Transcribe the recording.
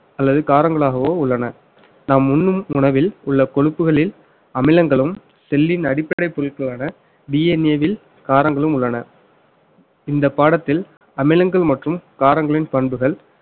அல்லது காரங்களாகவோ உள்ளன நாம் உண்ணும் உணவில் உள்ள கொழுப்புகளில் அமிலங்களும் செல்லின் அடிப்படை பொருட்களான DNA வில் காரங்களும் உள்ளன இந்த பாடத்தில் அமிலங்கள் மற்றும் காரங்களின் பண்புகள்